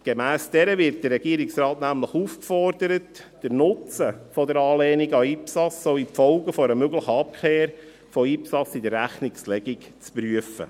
Gemäss dieser wird der Regierungsrat nämlich aufgefordert, den Nutzen der Anlehnung an IPSAS sowie die Folgen einer möglichen Abkehr von IPSAS in der Rechnungslegung zu prüfen.